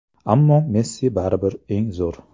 Ammo Messi baribir eng zo‘r.